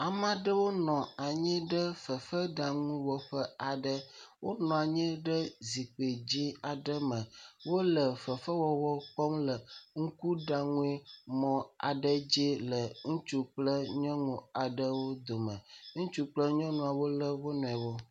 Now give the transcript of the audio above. Ame aɖewo nɔ anyi fefeɖaŋuwɔƒe aɖe. Wonɔ anyi ɖe zikpui dzɛ̃ aɖe me. Wole fefewɔwɔ kpɔm le ŋkuɖaŋumɔ aɖe dzi le ŋutsu kple nyɔnu aɖewo dome. Ŋutsu kple nyɔnua wole wonuiwo.